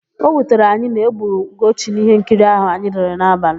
O wutere anyị na-egburu Ugochi n'íhénkiri áhụ̀ anyị lere n'abalị.